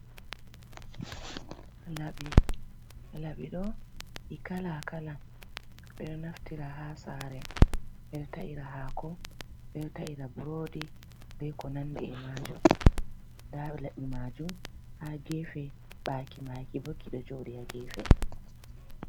Laɓi, laɓiɗo ɗi kalakala ɓeɗo naftira ha sare ɓe o ta’ira hako beɗo ta’ira burodi be ko nandi e majum, nda laɓi majum ha gefe ɓaki makibo ki ɗo joɗi ha gefe.